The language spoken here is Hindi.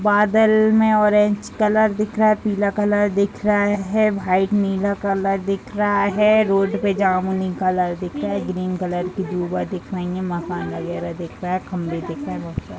बादल में ऑरेंज कलर दिख रहा है पीला कलर दिख रहा है वाइट नीला कलर दिख रहा है। रोड पे जामुनी कलर दिख रहा है ग्रीन कलर की दिख रहीं हैं। मकान वगैरा दिख रहा है खम्भे दिख रहें हैं बहुत सारे।